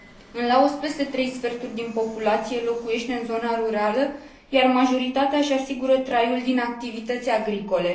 În Laos, peste trei sferturi din populație locuiește în zona rurală, iar majoritatea își asigură traiul din activități agricole.